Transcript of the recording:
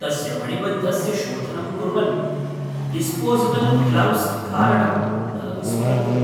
तस्य मणिबन्धस्य शोधनं कुर्वन् डिस्पोजेबल् ग्लव्स् धारणं न विस्मरतु।